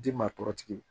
Ji maa tɔɔrɔ tigiw